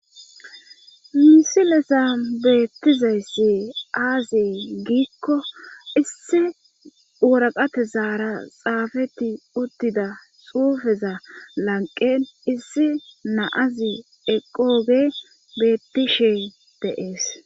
misilezan beettizayssi aaziye giikko issi wuraqate zaara xaafeti uttida xuufeza lanqen issi naazi eqooge bettishe de'ees